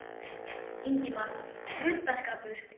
Ingimar: Ruddaskapur?